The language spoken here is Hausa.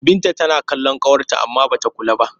Binta tana kallon ƙawarta amma ba ta kula ta ba.